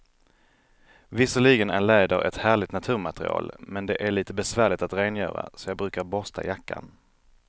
Visserligen är läder ett härligt naturmaterial, men det är lite besvärligt att rengöra, så jag brukar borsta jackan.